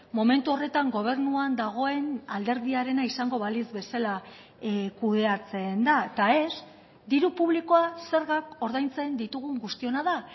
momentu horretan gobernuan dagoen alderdiarena izango balitz bezala kudeatzen da eta ez diru publikoa zergak ordaintzen ditugun guztiona da